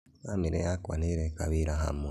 Bamĩrĩ yakwa nĩereka wĩra hamwe